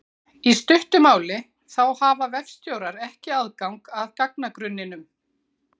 Í stuttu máli þá hafa vefstjórar ekki aðgang að gagnagrunninum.